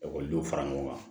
Ekɔlidenw fara ɲɔgɔn kan